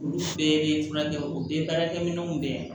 Olu bɛɛ bɛ furakɛ u bɛɛ baarakɛ minɛw bɛɛ